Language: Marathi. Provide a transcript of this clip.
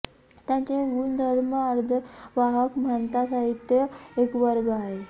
त्यांचे गुणधर्म अर्धवाहक म्हणतात साहित्य एक वर्ग आहे